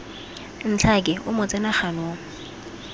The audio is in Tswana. ntlhake o mo tsena ganong